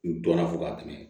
N dɔnna fo ka tɛmɛ